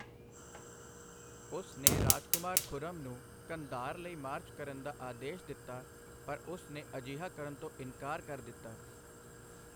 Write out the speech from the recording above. ਉਸ ਨੇ ਰਾਜਕੁਮਾਰ ਖੁਰਮ ਨੂੰ ਕੰਧਾਰ ਲਈ ਮਾਰਚ ਕਰਨ ਦਾ ਆਦੇਸ਼ ਦਿੱਤਾ, ਪਰ ਉਸ ਨੇ ਅਜਿਹਾ ਕਰਨ ਤੋਂ ਇਨਕਾਰ ਕਰ ਦਿੱਤਾ।